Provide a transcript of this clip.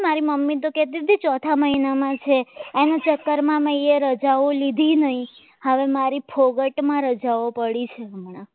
મારી મમ્મી તો કહેતી હતી કે ચોથા મહિનામાં છે એના ચક્કરમાં મેં અહીંયા રજાઓ લીધી નહીં હવે મારી ફોકટમાં રજાઓ પડી છે હમણાં